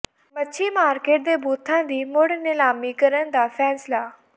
ਮੱਛੀ ਮਾਰਕੀਟ ਦੇ ਬੂਥਾਂ ਦੀ ਮੁੜ ਨਿਲਾਮੀ ਕਰਨ ਦਾ ਫੈਸਲਾ